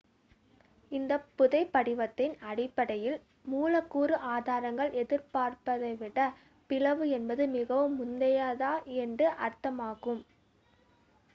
"""இந்த புதைபடிவத்தின் அடிப்படையில் மூலக்கூறு ஆதாரங்கள் எதிர்பார்த்ததை விட பிளவு என்பது மிகவும் முந்தையது என்று அர்த்தமாகும்.